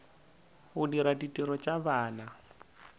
go dira ditiro tša bana